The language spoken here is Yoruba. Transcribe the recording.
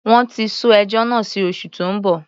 Wọ́n ti sún ẹjọ́ náà sí oṣù tó ń bọ̀.